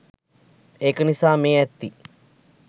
ඒක නිසා මේ ඇත්ති